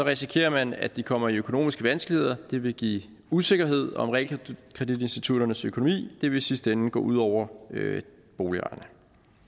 risikerer man at de kommer i økonomiske vanskeligheder det vil give usikkerhed om realkreditinstitutternes økonomi det vil i sidste ende gå ud over boligejerne